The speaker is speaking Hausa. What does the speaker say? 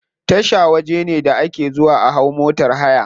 Tasha waje ne da ake zuwa a hau motar haya.